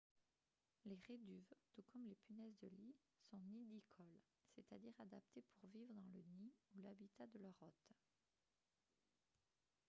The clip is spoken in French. les réduves tout comme les punaises de lit sont nidicoles c'est-à-dire adaptées pour vivre dans le nid ou l'habitat de leur hôte